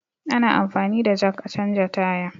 Ana anfani da jak a canja tire